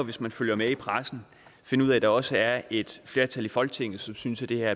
hvis man følger med i pressen finde ud af at der også er et flertal i folketinget som synes at det her